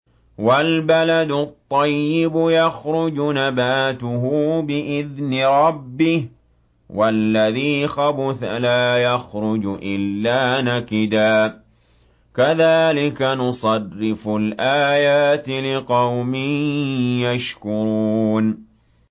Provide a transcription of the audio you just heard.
وَالْبَلَدُ الطَّيِّبُ يَخْرُجُ نَبَاتُهُ بِإِذْنِ رَبِّهِ ۖ وَالَّذِي خَبُثَ لَا يَخْرُجُ إِلَّا نَكِدًا ۚ كَذَٰلِكَ نُصَرِّفُ الْآيَاتِ لِقَوْمٍ يَشْكُرُونَ